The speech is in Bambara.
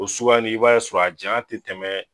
O suguya nin i b'a ye a sɔrɔ a janya te tɛmɛ